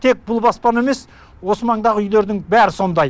тек бұл баспана емес осы маңдағы үйлердің бәрі сондай